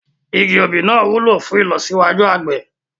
Igi òbí náà wúlò fún ìlọsíwájú àgbẹ̀